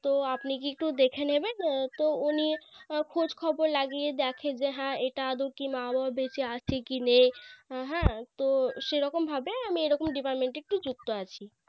তো আপনি কি একটু দেখে নেবেন তো উনি খোঁজখবর লাগিয়ে যে হ্যাঁ এটা আদৌ কি মা বাবা বেঁচে আছে কি নেই হ্যাঁ তো সেরকম ভাবে আমি এরকম Deperment এ একটু যুক্ত আছি